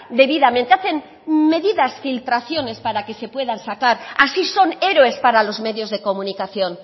debidamente hacen medidas filtraciones para que se puedan sacar así son héroes para los medios de comunicación